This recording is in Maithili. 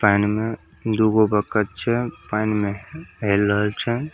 पाइन में दूगो बतख छे पाइन में हेल में रहल छे।